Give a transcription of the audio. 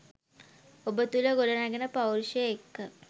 ඔබ තුළ ගොඩනැගෙන පෞරුෂය එක්ක